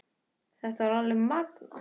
Þetta var alveg magnað!